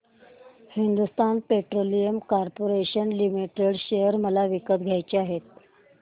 Hindustan petroleum corporation limited share मला विकत घ्यायचे आहेत